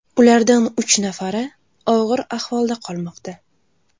Ulardan uch nafari og‘ir ahvolda qolmoqda.